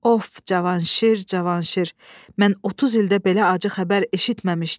Of, Cavanşir, Cavanşir, mən 30 ildir belə acı xəbər eşitməmişdim.